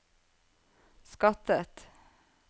skattet